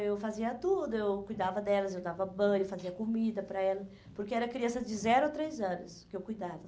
Eu fazia tudo, eu cuidava delas, eu dava banho, fazia comida para elas, porque era criança de zero a três anos que eu cuidava.